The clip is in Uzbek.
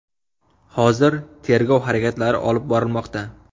Hozir tergov harakatlari olib borilmoqda.